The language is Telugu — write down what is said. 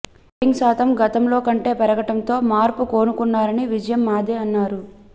ఓటింగ్ శాతం గతంలో కంటే పెరగటంతో మార్పు కోరుకున్నారని విజయం మాదే అన్నారు